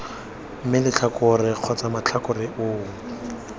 mme letlhakore kgotsa matlhakore oo